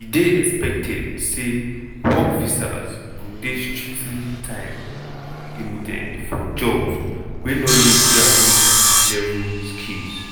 e dey expected say work visas go dey strictly time-limited for jobs wey no need graduate-level skills.